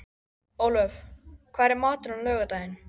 Ólöf, hvað er í matinn á laugardaginn?